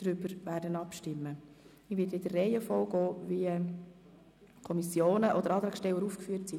Ich werde das Wort in der Reihenfolge erteilen, wie die Kommissionen oder Antragsteller aufgeführt sind.